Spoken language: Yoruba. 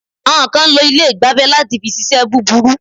Àwọn kan ń lo ilé ìgbafẹ́ láti fi ṣiṣẹ́ búburú.